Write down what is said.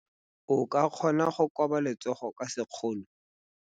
O ka kgona go koba letsogo ka sekgono.